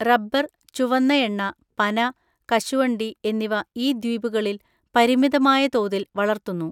Rubber, ചുവന്ന എണ്ണ, പന, കശുവണ്ടി എന്നിവ ഈ ദ്വീപുകളിൽ പരിമിതമായ തോതിൽ വളർത്തുന്നു.